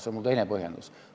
See on mu teine põhjendus.